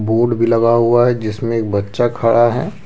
Board भी लगा हुआ है जिसमें एक बच्चा खड़ा है।